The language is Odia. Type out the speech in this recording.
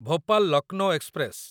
ଭୋପାଲ ଲକନୋ ଏକ୍ସପ୍ରେସ